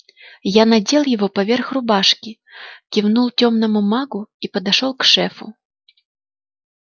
я надел его поверх рубашки кивнул тёмному магу и подошёл к шефу